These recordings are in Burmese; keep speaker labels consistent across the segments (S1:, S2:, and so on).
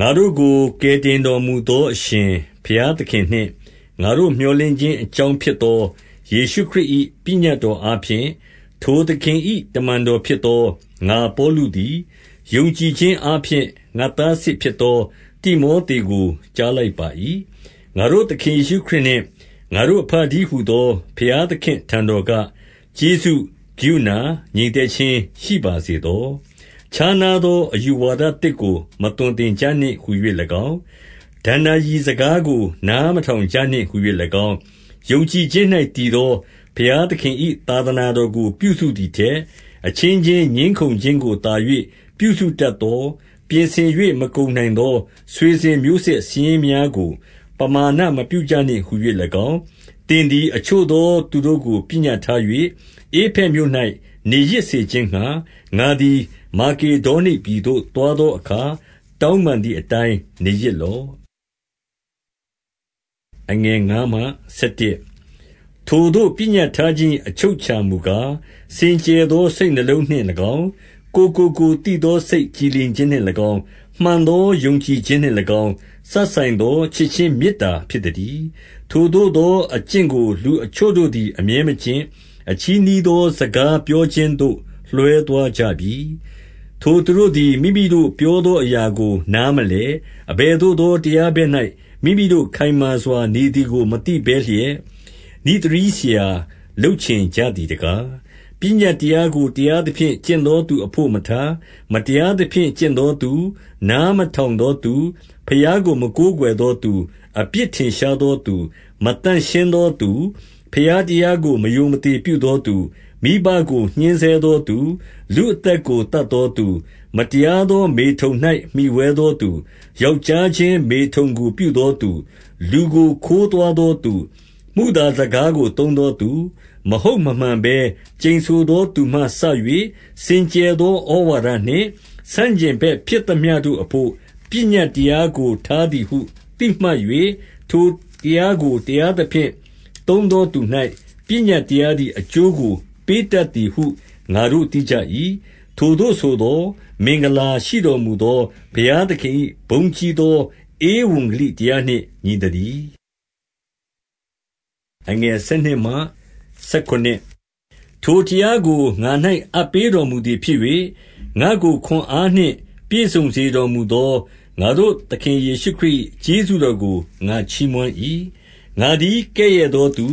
S1: ငါတို့ကိုကယ်တင်တော်မူသော အရှင်ဘုရားသခင်နှင့်၊ ငါတို့မြော်လင့်ခြင်းအကြောင်းဖြစ်သော ယေရှု ခရစ်၏ ပညတ်တော်အားဖြင့်၊ ထိုသခင်၏ တမန်တော်ဖြစ်သော ငါပေါလုသည်၊ ယုံကြည်ခြင်းအားဖြင့် ငါသားစစ်ဖြစ်သော တိမောသေကို ကြားလိုက်ပါ၏။ ငါတို့သခင် ယေရှုခရစ် နှင့် ငါတို့အဘတည်းဟူသော ဘုရားသခင့်အထံတော်က ကျေးဇူး၊ ကရုဏာ၊ ငြိမ်သက်ခြင်းရှိပါစေသော။ ခြားနားသော အယူဝါဒသစ်ကို မသွန်သင်ကြနှင့်ဟူ၍၎င်း၊ ဒဏ္ဍာရီစကားကို နားမထောင်နှင့်ဟူ၍၎င်း၊ ယုံကြည်ခြင်း၌တည်သော ဘုရားသခင်၏ သာသနာတော်ကို ပြုစုသည်ထက်၊ အချင်းချင်းငြင်းခုံခြင်းကိုသာ၍ ပြုစုတတ်သော၊ ပြင်ဆင်၍ မကုန်နိုင်သော ဆွေစဉ်မျိုးဆက်စာရင်းများကို ပမာဏမပြုကြနှင့်ဟူ၍၎င်း၊ သင် သည် အချို့သော သူတို့ကို ပညတ်ထား၍၊ ဧဖက်မြို့၌ နေရစ်စေခြင်းငှါ၊ ငါသည် မာကေဒေါနိပြည်သို့ သွား သောအခါ၊ တောင်းပန်သည်အတိုင်း နေရစ်လော့။ ထိုသို့ပညတ်ထားခြင်း၏အချုပ်အခြာမူကား၊ စင်ကြယ်သော စိတ်နှလုံးနှင့်၎င်း၊ ကိုယ်ကိုကိုယ်သိသော စိတ်ကြည်လင်ခြင်းနှင့်၎င်း၊ မှန်သောယုံကြည်ခြင်းနှင့်၎င်း၊ စပ်ဆိုင်သော ချစ်ခြင်းမေတ္တာဖြစ်သတည်း။ ထိုသို့သောအကျင့်ကိုလူအချို့တို့သည် အမြဲမကျင့်၊ အချည်းနှီးသောစကားပြောခြင်းသို့ လွှဲသွားကြပြီ။ ထိုသူတို့သည် မိမိတို့ပြောသောအရာကို နားမလည်။ အဘယ်သို့သောတရားဘက်၌ မိမိတို့ခိုင်မာစွာ နေသည်ကို မသိဘဲလျက်၊ နိဿရည်းဆရာလုပ်ချင်ကြ သည်တကား။ ပညတ်တရားကို တရားသဖြင့် ကျင့်သောသူ အဘို့မထား၊ မတရားသဖြင့် ကျင့်သောသူ၊ နားမထောင် သောသူ၊ ဘုရားကို မကိုးကွယ်သောသူ၊ အပြစ်ထင်ရှားသောသူ၊ မသန့်ရှင်းသောသူ၊ ဘုရားတရားကို မရိုမသေ ပြုသောသူ၊ မိဘကိုညှဉ်းဆဲသောသူ၊ လူအသက်ကို သတ်သောသူ၊ မတရားသောမေထုန်၌ မှီဝဲသောသူ၊ ယောက်ျားချင်းမေထုန်ကိုပြုသောသူ၊ လူကိုခိုးသွားသောသူ၊ မုသာစကားကိုသုံးသောသူ၊ မဟုတ်မမှန်ဘဲ ကျန်ဆိုသောသူမှစ၍၊ စင်ကြယ်သောဩဝါဒနှင့် ဆန့်ကျင်ဘက်ဖြစ်သမျှတို့အဘို့ ပညတ်တရားကို ထားသည်ဟု သိမှတ်၍၊ ထိုတရားကိုတရားသဖြင့်သုံးသောသူ၌ ပညတ်တရားသည် အကျိုးကိုပေးတတ်သည်ဟု ငါတို့ သိကြ၏။ ထိုသို့ဆိုသော်၊ မင်္ဂလာရှိတော်မူသော ဘုရားသခင်၏ဘုန်းကြီးသော ဧဝံဂေလိတရားနှင့်ညီသတည်း။ ထိုတရားကို ငါ၌အပ်ပေးတော်မူသည်ဖြစ်၍၊ ငါ့ကိုခွန်အားနှင့် ပြည့်စုံစေတော်မူသော ငါတို့သခင် ယေရှုခရစ်၏ကျေးဇူးတော်ကို ငါချီးမွမ်း၏။ ငါသည်ကဲ့ရဲ့သောသူ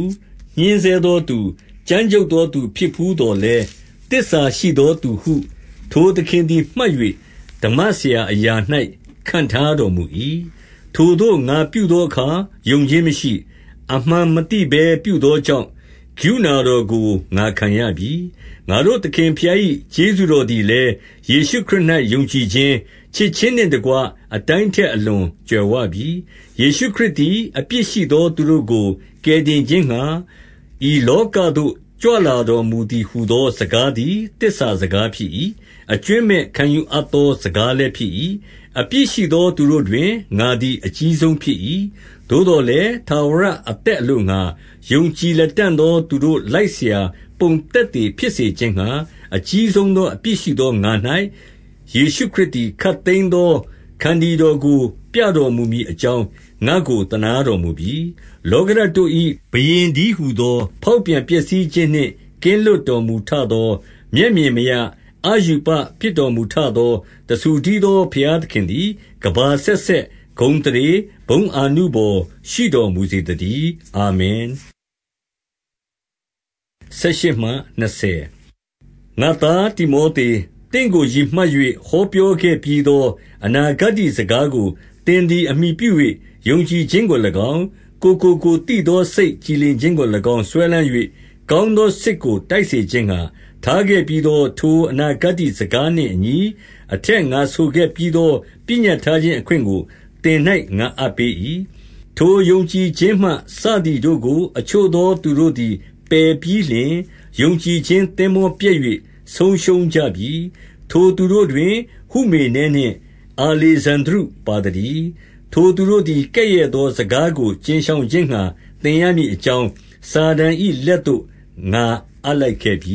S1: ၊ ညဉ်းဆဲသောသူ၊ ကြမ်းကြုတ်သောသူဖြစ်ဘူးသော်လည်း၊ သစ္စာရှိသောသူဟု ထိုသခင်သည် မှတ်၍၊ ဓမ္မဆရာအရာ၌ ခန့်ထားတော်မူ၏။ ထိုသို့ငါပြုသောအခါ ယုံခြင်းမရှိ၊ အမှန်မသိဘဲ ပြုသောကြောင့်၊ ကရုဏာတော်ကိုငါခံရပြီ။ ငါတို့သခင်ဘုရား၏ ကျေးဇူးတော်သည်လည်း ယေရှုခရစ်၌ ယုံကြည်ခြင်း၊ ချစ်ခြင်းနှင့်တကွ၊ အတိုင်း ထက်အလွန် ကြွယ်ဝပြီ။ ယေရှုခရစ်သည် အပြစ်ရှိသောသူတို့ကို ကယ်တင်ခြင်းငှါ၊ ဤလောကသို့ကြွလာတော်မူသည် ဟူ သောစကားသည် သစ္စာစကားဖြစ်၏။ အကြွင်းမဲ့ခံယူအပ် သောစကားလည်းဖြစ်၏။ အပြစ်ရှိသော သူတို့တွင် ငါသည် အကြီးဆုံးဖြစ်၏။ သို့သော်လည်း၊ ထာဝရအသက်အလိုငှါ ယုံကြည်လတံ့သော သူတို့လိုက်စရာပုံသက်သေ ဖြစ်စေ ခြင်းငှါ၊ အကြီးဆုံးသောအပြစ်ရှိသော ငါ၌၊ ယေရှုခရစ်သည် ခပ်သိမ်းသောခန္တီတော်ကို ပြတော်မူမည် အ ကြောင်း၊ ငါ့ကိုသနားတော်မူပြီ။ လောကဓာတ်တို့၏ ဘုရင်တည်းဟူသော၊ ဖောက်ပြန်ပျက်စီးခြင်းနှင့်ကင်းလွတ်တော်မူထသော၊ မျက်မြင်မရ၊ အရူပဖြစ်တော်မူထသော၊ တဆူတည်းသောဘုရားသခင်သည် ကမ္ဘာအဆက်ဆက် ဂုဏ်အသရေ၊ ဘုန်းအာနုဘော်ရှိတော်မူစေသတည်း။ အာမင်။ ငါ့သားတိမောသေ၊ သင့်ကိုရည်မှတ်၍ ဟောပြောခဲ့ပြီးသော အနာဂတ္တိစကားကို သင်သည်အမှီပြု၍၊ ယုံကြည်ခြင်းကို၎င်း၊ ကိုယ်ကိုကိုယ်သိသော စိတ်ကြည်လင်ခြင်းကို၎င်း စွဲလမ်း၍ ကောင်းသောစစ်ကို တိုက်စေ ခြင်းငှါ၊ ထားခဲ့ပြီးသော ထိုအနာဂတ္တိစကားနှင့်အညီ၊ အထက် ငါဆိုခဲ့ပြီးသော ပညတ်ထားခြင်းအခွင့်ကိုသင်၌ ငါအပ်ပေး၏။ ထိုယုံကြည်ခြင်းမှ စသည်တို့ကို အချို့သောသူတို့သည် ပယ်ပြီးလျှင်၊ ယုံကြည်ခြင်းသင်္ဘောပျက်၍ ဆုံးရှုံးကြပြီ။ ထိုသူတို့တွင် ဟုမေနဲနှင့်အာလေဇန္ဒြုပါသတည်း။ ထိုသူတို့သည် ကဲ့ရဲ့သောစကားကို ကြဉ်ရှောင် ခြင်းငှါ သင်ရမည်အကြောင်း၊ စာတန်၏ လက်သို့ငါအပ်လိုက်ခဲ့ပြ